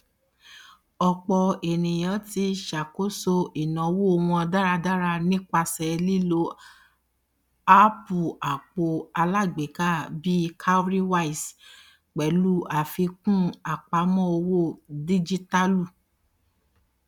ọpọ ènìyàn ti ṣàkóso ináwó wọn dáradára nípasẹ lílo áàpùapp alágbèéká bíi cowrywise pẹlú àfikún apamọ owó díjítàlù